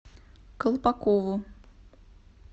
колпакову